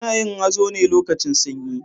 Ana yin hazo ne lokacin sanyi.